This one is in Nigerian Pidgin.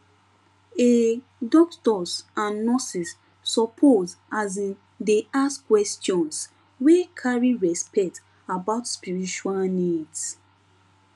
um doctors and nurses suppose asin dey ask questions wey carry respect about spiritual needs